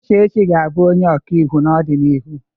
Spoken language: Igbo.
Uchechi ga-abụ onye ọkaiwu n'ọdịnihu.